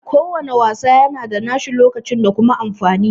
Ko wanna wasa yana da nashi lokacin da kuma amfani